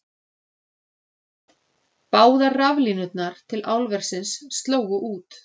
Báðar raflínurnar til álversins slógu út